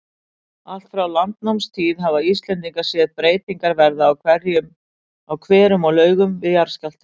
Allt frá landnámstíð hafa Íslendingar séð breytingar verða á hverum og laugum við jarðskjálfta.